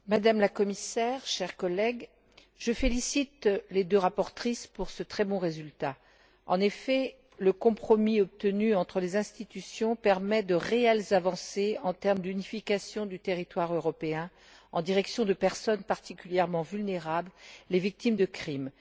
Monsieur le Président, Madame la Commissaire, chers collègues, je félicite les deux rapporteures pour ce très bon résultat. En effet, le compromis obtenu entre les institutions permet de réelles avancées en termes d'unification du territoire européen à l'intention de personnes particulièrement vulnérables, les victimes de crimes.